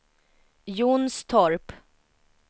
Jonstorp